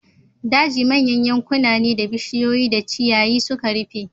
Daji manyan yankuna ne da bishiyoyi da ciyayi suka rufe.